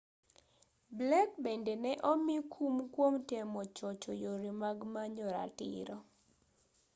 blake bende ne omi kum kwom temo chocho yore mag manyo ratiro